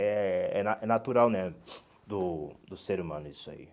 É é na é natural né do do ser humano isso aí.